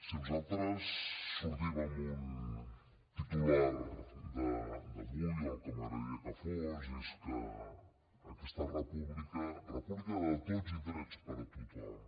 si nosaltres sortim en un titular d’avui el que m’agradaria que fos és que aquesta república república de tots i drets per a tothom